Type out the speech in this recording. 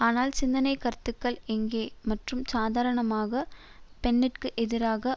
ஆனால் சிந்தனை கருத்துக்கள் எங்கே மற்றும் சாதாரணமாக பென்ற்கு எதிராக